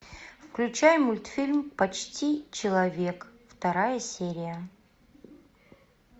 включай мультфильм почти человек вторая серия